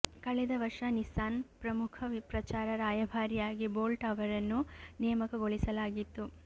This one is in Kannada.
ಕಳೆದ ವರ್ಷ ನಿಸ್ಸಾನ್ ಪ್ರಮುಖ ಪ್ರಚಾರ ರಾಯಭಾರಿಯಾಗಿ ಬೋಲ್ಟ್ ಅವರನ್ನು ನೇಮಕಗೊಳಿಸಲಾಗಿತ್ತು